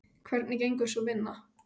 Hvernig gengur sú vinna?